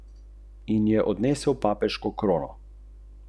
Dežnika še vedno ne uporabljam.